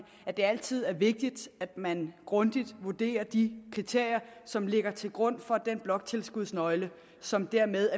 at det altid er vigtigt at man grundigt vurderer de kriterier som ligger til grund for den bloktilskudsnøgle som er med